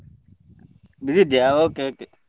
Busy ಇದ್ದಿಯಾ? Okay, okay .